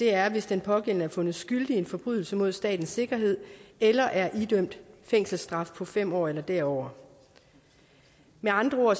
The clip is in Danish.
er hvis den pågældende er fundet skyldig i en forbrydelse mod statens sikkerhed eller er idømt fængselsstraf på fem år eller derover med andre ord